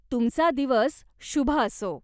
तुमचा दिवस शुभ असो.